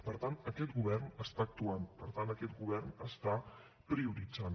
per tant aquest govern actua per tant aquest govern prioritza